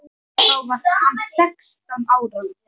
Þá var hann sextán ára.